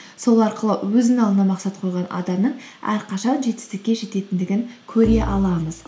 сол арқылы өзінің алдына мақсат қойған адамның әрқашан жетістікке жететіндігін көре аламыз